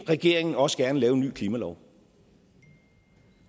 regeringen også gerne lave en ny klimalov